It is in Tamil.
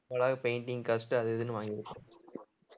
painting cost அது இதுன்னு வாங்கிருப்பாங்க